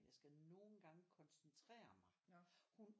Jeg skal nogle gange koncentere mig hun